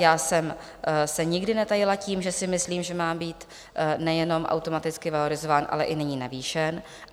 Já jsem se nikdy netajila tím, že si myslím, že má být nejenom automaticky valorizován, ale i nyní navýšen.